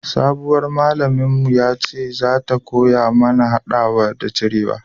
sabuwar malamin mu ya ce za ta koya mana hadawa da cirewa